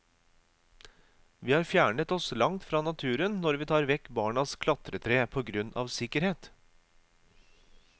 Vi har fjernet oss langt fra naturen når vi tar vekk barnas klatretre på grunn av sikkerhet.